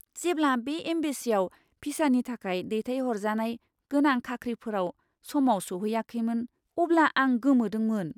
जेब्ला बे एम्बेसिआव भिसानि थाखाय दैथायहरजानाय गोनां खाख्रिफोराव समाव सौहैयाखैमोन अब्ला आं गोमोदोंमोन!